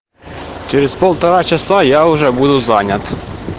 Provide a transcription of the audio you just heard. через полтора часа я уже буду занят